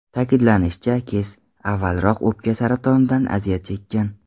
Ta’kidlanishicha, Kes avvalroq o‘pka saratonidan aziyat chekkan.